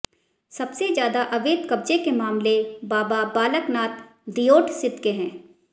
सबसे ज्यादा अवैध कब्जे के मामले बाबा बालक नाथ दियोटसिद्ध के हैं